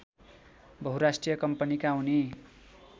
बहुराष्ट्रिय कम्पनीका उनी